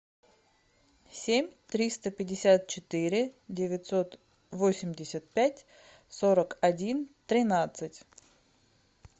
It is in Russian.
семь триста пятьдесят четыре девятьсот восемьдесят пять сорок один тринадцать